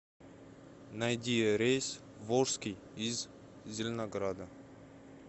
найди рейс в волжский из зеленограда